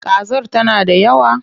Kazar tana da yawa?